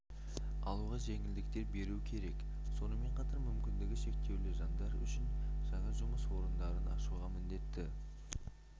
алуға жеңілдіктер беру керек сонымен қатар мүмкіндігі шектеулі жандар үшін жаңа жұмыс орындарын ашуға міндетті